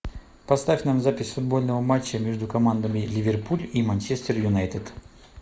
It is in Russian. поставь нам запись футбольного матча между командами ливерпуль и манчестер юнайтед